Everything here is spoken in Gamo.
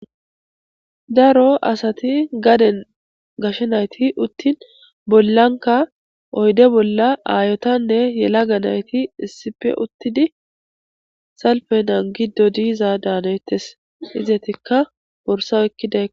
Daro asati gaden gashe nayti uttin bollanka oyde bolla aayotanne yela ga nayti issipe uttidi salpenan giddo diiza daanayettes izetikka borsaw ekkida.